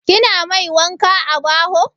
Kina mai wanka a baho?